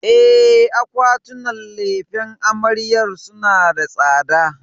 E, akwatunan lefen amaryar suna da tsada.